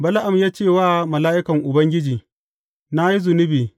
Bala’am ya ce wa mala’ikan Ubangiji, Na yi zunubi.